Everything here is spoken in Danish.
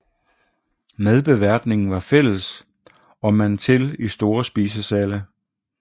Madbeværtningen var fælles og man til i store spisesale